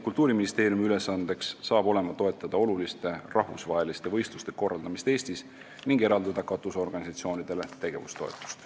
Kultuuriministeeriumi ülesanne hakkab olema toetada oluliste rahvusvaheliste võistluste korraldamist Eestis ning eraldada katusorganisatsioonidele tegevustoetust.